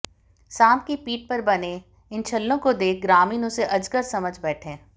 सांप की पीठ पर बने इन छल्लों को देख ग्रामीण इसे अजगर समझ बैठे